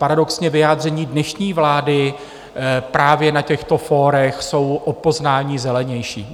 Paradoxně vyjádření dnešní vlády právě na těchto fórech jsou o poznání zelenější.